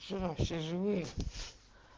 что все живые